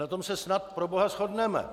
Na tom se snad, proboha, shodneme!